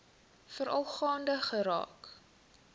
veral gaande geraak